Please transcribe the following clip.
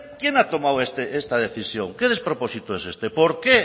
quién ha tomado esta decisión qué despropósito es este por qué